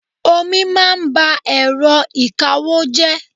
Omi máa ń ba èrọ ìkawó jẹ́.